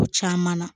Ko caman na